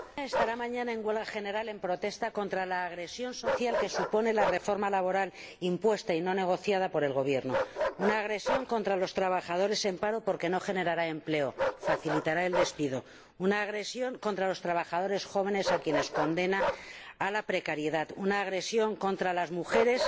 Señor Presidente, mi país estará mañana en huelga general en protesta contra la agresión social que supone la reforma laboral impuesta y no negociada por el Gobierno. Una agresión contra los trabajadores en paro porque no generará empleo y facilitará el despido, una agresión contra los trabajadores jóvenes a quienes condena a la precariedad, una agresión contra las mujeres